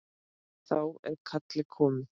Þá er kallið komið.